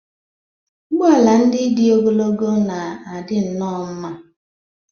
Ụgbọ ala ndị dị ogologo na-adị nnọọ mma.